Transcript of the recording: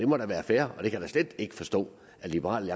må da være fair det kan jeg da slet ikke forstå at liberal